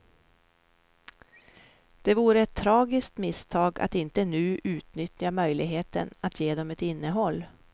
Det vore ett tragiskt misstag att inte nu utnyttja möjligheten att ge dem ett innehåll.